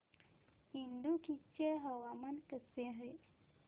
इडुक्की चे हवामान कसे आहे